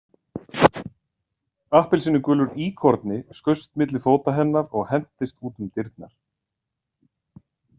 Appelsínugulur íkorni skaust milli fóta hennar og hentist út um dyrnar.